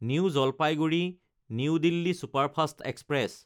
new Jalpaiguri New Delhi superfast express